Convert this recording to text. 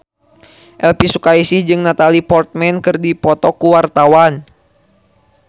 Elvi Sukaesih jeung Natalie Portman keur dipoto ku wartawan